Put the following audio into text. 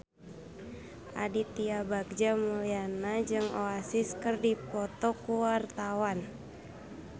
Aditya Bagja Mulyana jeung Oasis keur dipoto ku wartawan